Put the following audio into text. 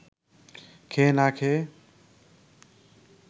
খেয়ে না খেয়ে